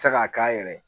Se k'a k'a yɛrɛ ye